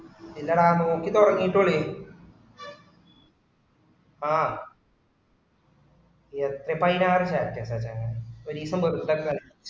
ഇല്ലെടാ നോക്കിത്തുടങ്ങിട്ടല്ലെന ആഹ് sfi ന്റെ ആണ്‌ വിചാരിക്കാ ആ ചെങ്ങായി ഒരീസം പോലും return